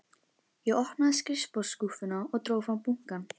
Ég opnaði skrifborðsskúffuna og dró fram bunkann.